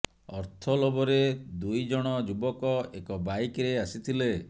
ଅର୍ଥ ଲୋଭରେ ଦୁଇ ଜଣ ଯୁବକ ଏକ ବାଇକ୍ରେ ଆସିଥିଲେ